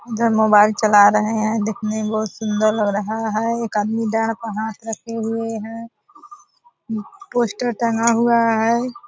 इधर मोबाईल चला रहे हैं दिखने में बहुत सुंदर लग रहा है एक आदमी दाड़ पर हाथ रखे हुए है पोस्टर टंगा हुआ है।